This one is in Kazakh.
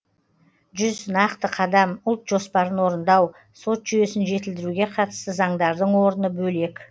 жүз нақты қадам ұлт жоспарын орындау сот жүйесін жетілдіруге қатысты заңдардың орны бөлек